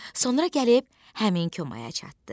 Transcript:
Sonra gəlib həmin komaya çatdı.